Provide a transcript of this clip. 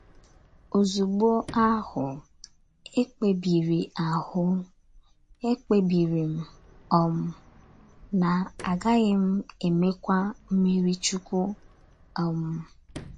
Ozugbo ahụ, ekpebiri ahụ, ekpebiri m um na a gaghị m emekwa mmiri Chukwu. um